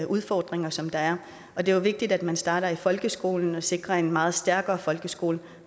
udfordringer som der er og det er jo vigtigt at man starter i folkeskolen og sikrer en meget stærkere folkeskole